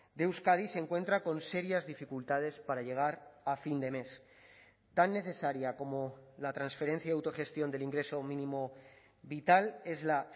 de euskadi se encuentra con serias dificultades para llegar a fin de mes tan necesaria como la transferencia de autogestión del ingreso mínimo vital es la